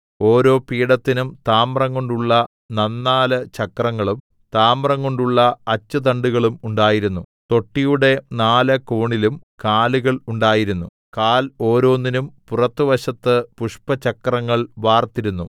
ഓരോ പീഠത്തിനും താമ്രംകൊണ്ടുള്ള നന്നാല് ചക്രങ്ങളും താമ്രംകൊണ്ടുള്ള അച്ചുതണ്ടുകളും ഉണ്ടായിരുന്നു തൊട്ടിയുടെ നാല് കോണിലും കാലുകൾ ഉണ്ടായിരുന്നു കാൽ ഓരോന്നിനും പുറത്തുവശത്ത് പുഷ്പചക്രങ്ങൾ വാർത്തിരുന്നു